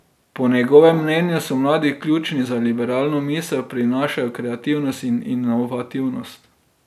Po njegovem mnenju so mladi ključni za liberalno misel, prinašajo kreativnost in inovativnost.